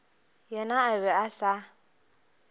yena a be a sa